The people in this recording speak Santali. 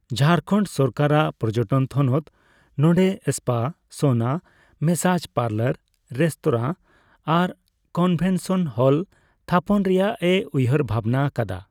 ᱡᱷᱟᱲᱠᱷᱚᱸᱰ ᱥᱚᱨᱠᱟᱨᱟᱜ ᱯᱚᱨᱡᱚᱴᱚᱱ ᱛᱷᱚᱱᱚᱛ ᱱᱚᱸᱰᱮ spa, sauna, massage parlour, restaurant ᱟᱨ ᱠᱚᱱᱵᱷᱮᱱᱥᱚᱱ ᱦᱚᱞ ᱛᱷᱟᱯᱚᱱ ᱨᱮᱭᱟᱜᱼᱮ ᱩᱭᱦᱟᱹᱨ ᱵᱷᱟᱵᱱᱟ ᱟᱠᱟᱫᱟ ᱾